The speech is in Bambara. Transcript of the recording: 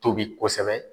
Tobi kosɛbɛ